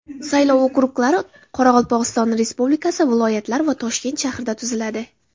Saylov okruglari Qoraqalpog‘iston Respublikasi, viloyatlar va Toshkent shahrida tuziladi.